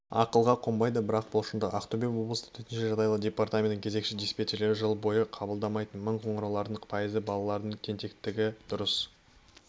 ақылға қонбайды бірақ бұл шындық ақтөбе облысы төтенше жағдайлар департаментінің кезекші диспетчерлері жыл бойы қабылдамайтын мың қоңыраулардың пайызы балалардың тентектігі дұрыс